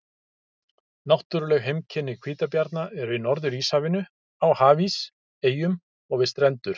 Náttúruleg heimkynni hvítabjarna eru í Norður-Íshafinu, á hafís, eyjum og við strendur.